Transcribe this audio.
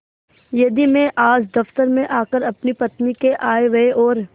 यदि मैं आज दफ्तर में आकर अपनी पत्नी के आयव्यय और